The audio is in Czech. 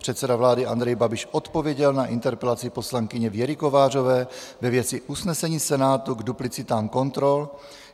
Předseda vlády Andrej Babiš odpověděl na interpelaci poslankyně Věry Kovářové ve věci usnesení Senátu k duplicitám kontrol.